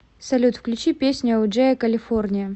салют включи песню элджея калифорния